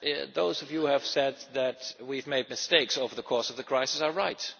Those of you have said that we have made mistakes over the course of the crisis are right.